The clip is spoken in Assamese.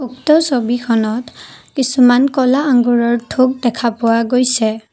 উক্ত ছবিখনত কিছুমান ক'লা আঙুৰৰ থোক দেখা পোৱা গৈছে।